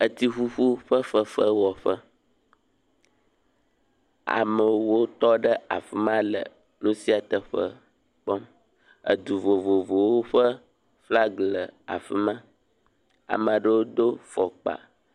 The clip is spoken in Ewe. Etsiƒuƒu ƒe fefewɔƒe. Amewo tɔ ɖe afi ma le nu sia teƒe kpɔm. Edu vovovowo ƒe flag le afi ma. Ame aɖewo do fɔkpa